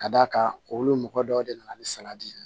Ka d'a kan olu ye mɔgɔ dɔw de nana ni salati ye